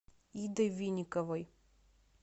идой винниковой